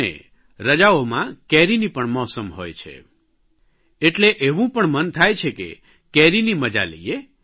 અને રજાઓમાં કેરીની પણ મોસમ હોય છે એટલે એવું પણ મન થાય છે કે કેરીની મજા લઇએ